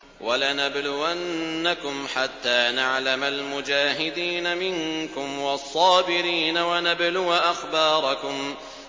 وَلَنَبْلُوَنَّكُمْ حَتَّىٰ نَعْلَمَ الْمُجَاهِدِينَ مِنكُمْ وَالصَّابِرِينَ وَنَبْلُوَ أَخْبَارَكُمْ